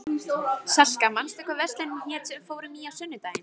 Salka, manstu hvað verslunin hét sem við fórum í á sunnudaginn?